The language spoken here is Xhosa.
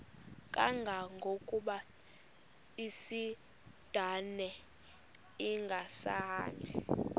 kangangokuba isindane ingasahambi